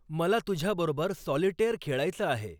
मला तुझ्याबरोबर सॉलिटेअर खेळायचं आहे.